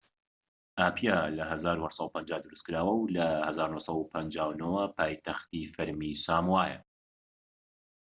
ئاپیا لە ١٨٥٠ دروستکراوە و لە ١٩٥٩ ەوە پایتەختی فەرمیی ساموایە